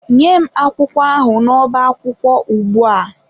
Nye m akwụkwọ ahụ n'ọbá akwụkwọ ugbu a!